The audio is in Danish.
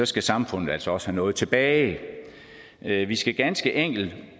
skal samfundet altså også have noget tilbage vi vi skal ganske enkelt